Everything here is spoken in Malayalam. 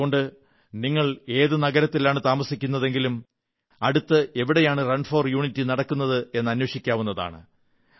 അതുകൊണ്ട് നിങ്ങൾ ഏതു നഗരത്തിലാണു താമസിക്കുന്നതെങ്കിലും അടുത്ത് എവിടെയാണ് റൺ ഫോർ യൂണിറ്റി നടക്കുന്നത് എന്ന് അന്വേഷിക്കാവുന്നതാണ്